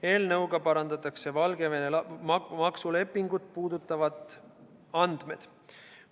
Eelnõuga parandatakse Valgevene maksulepingut puudutavad andmed.